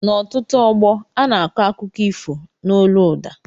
N' ọtụtụ ógbó ana akọ akụkọ ifo n' ólú ụda